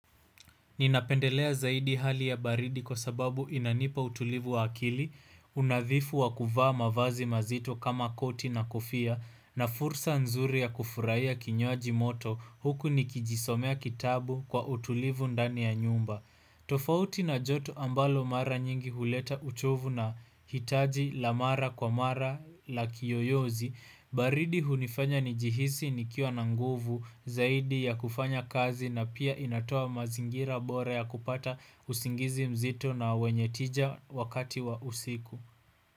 Ninapendelea zaidi hali ya baridi kwa sababu inanipa utulivu wa akili, unadhifu wa kuvaa mavazi mazito kama koti na kofia, na fursa nzuri ya kufurahiya kinywaji moto huku nikijisomea kitabu kwa utulivu ndani ya nyumba. Tofauti na joto ambalo mara nyingi huleta uchovu na hitaji la mara kwa mara la kiyoyozi baridi hunifanya nijihisi nikiwa na nguvu zaidi ya kufanya kazi na pia inatoa mazingira bora ya kupata usingizi mzito na wenye tija wakati wa usiku.